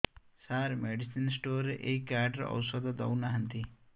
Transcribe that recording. ସାର medicine store ରେ ଏଇ card ରେ ଔଷଧ ଦଉନାହାନ୍ତି